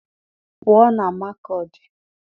Pụọ na Makọdị!